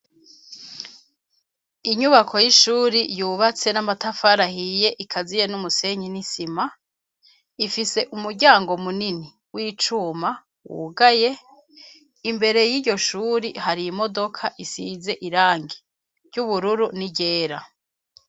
Inyubako y'ishuri yubatse n'amatafari ahiye ikaziye n'umusenyi n'isima, ifise umuryango munini w'icuma wugaye, imbere y'iyo shuri hari imodoka isize irangi ry'ubururu n'iryera.